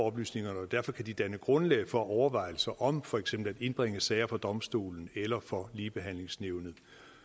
oplysningerne derfor kan de danne grundlag for overvejelser om for eksempel at indbringe sager for domstolene eller for ligebehandlingsnævnet